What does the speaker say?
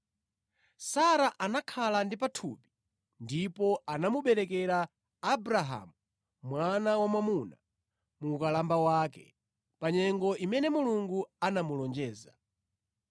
Sara anakhala ndi pathupi ndipo anamuberekera Abrahamu mwana wamwamuna mu ukalamba wake, pa nyengo imene Mulungu anamulonjeza.